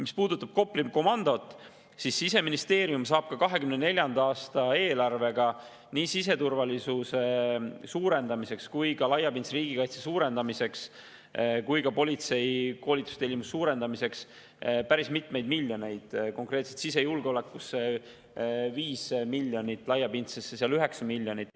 Mis puudutab Kopli komandot, siis Siseministeerium saab 2024. aasta eelarvega nii siseturvalisuse ja laiapindse riigikaitse parandamiseks kui ka politsei koolitustellimuse suurendamiseks päris mitmeid miljoneid: konkreetselt sisejulgeolekusse 5 miljonit, laiapindsesse kuskil 9 miljonit.